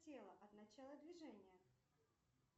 тело от начала движения